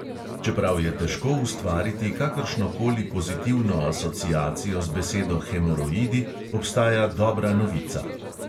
Čeprav je težko ustvariti kakršno koli pozitivno asociacijo z besedo hemoroidi, obstaja dobra novica.